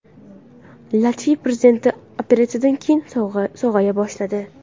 Latviya prezidenti operatsiyadan keyin sog‘aya boshladi.